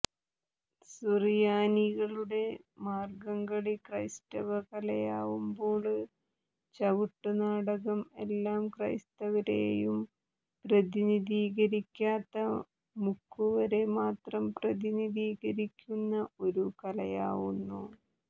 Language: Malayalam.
സുറിയാനികളുടെ മാര്ഗംകളി ക്രൈസ്തവ കലയാവുമ്പോള് ചവിട്ടു നാടകം എല്ലാ ക്രൈസ്തവരെയും പ്രതിനിധികരിക്കാത്ത മുക്കുവരെ മാത്രം പ്രതിനിധിക്കരിക്കുന്ന ഒരു കലയാവുന്നു